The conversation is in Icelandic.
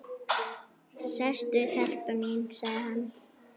Sestu telpa mín, sagði hann.